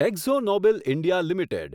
એક્ઝો Nobel India limited